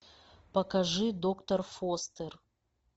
покажи доктор фостер